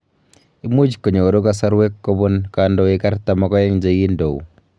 Imuuch konyoru kosorweek kobuun kondooik 42 chegindouuk.